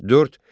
Dörd.